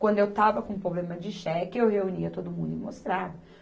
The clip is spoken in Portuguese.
Quando eu estava com problema de cheque, eu reunia todo mundo e mostrava.